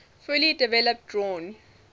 fully developed drawn